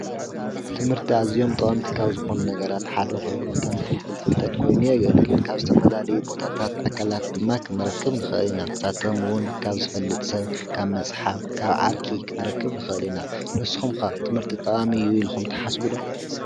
ትምህርቲ ኣዝዮም ጠቀምቲ ካብ ዝኮኑ ነገራት ሓደ ኮይኑ ከም ፍልፍል ፍልጠት ኮይኑ የገልግል ካብ ዝተፈላለዩ ቦታታት ኣካላት ድማ ክንረክብ ንክእል ኢና። ንሳቶም እውን ካብ ዝፈልጥ ሰብ መፅሓፍ ካብ ዓርኪ ክንረክብ ንክእል ኢና ንስኩም ከ ትምህርቲ ጠቃሚ እዩ ኢልኩም ትሓስቡ ዶ?